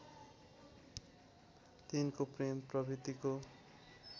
तिनको प्रेम प्रवित्तिको